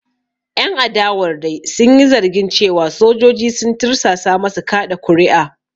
Ƴan adawar dai sun yi zargin cewa sojoji sun tursasa masu kaɗa kuri’a.